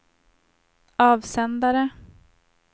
avsändare